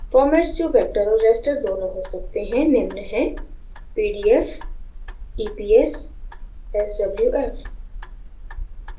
formats जो vector और raster दोनों हो सकते हैं निम्न हैं pdf eps swf